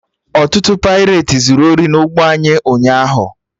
Ọtụtụ paireti zuru ori na ụgbọ anyị ụnyaahụ